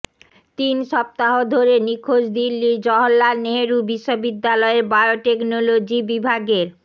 তিন সপ্তাহ ধরে নিখোঁজ দিল্লির জহওরলাল নেহরু বিশ্ববিদ্যালয়ের বায়োটেকনোলজি বিভাগের